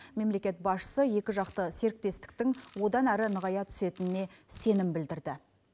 мемлекет басшысы екіжақты серіктестіктің одан әрі нығая түсетініне сенім білдірді